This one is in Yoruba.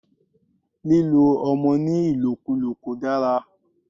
Lílo ọmọ ní ìlòkúlò kò dára.